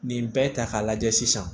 Nin bɛɛ ta k'a lajɛ sisan